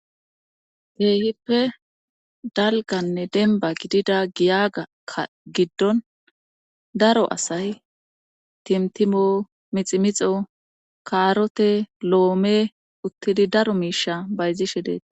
Teehippe dalganne denba gidida giyagakka giddon daro asay timtimo miximixo kaarote lo7ome uttidi daro miisha bayzishe deeta